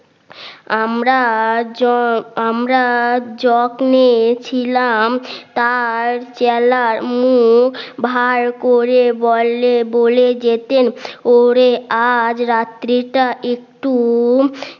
আমরা আমরা যত্নে ছিলাম তার জেলার মুখ ভার করে বললে বলে যেতেন ওরে আজ রাত্রিটা একটু